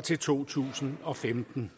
til to tusind og femten